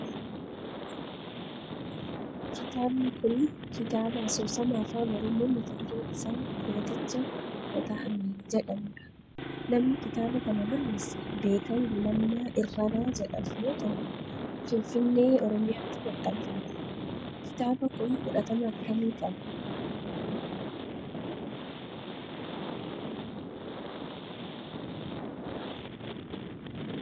Kitaabni kun kitaaba asoosama afaan oromoo mata dureen isaa kooticha kota'ame jedhamudha. Namni kitaaba kana kan barreesse Beekan Gulummaa Irranaa jedhamu yoo ta'u finfinnee, oromiyaatti maxxanfame. Kitaaba kun fudhatama akkamii qaba?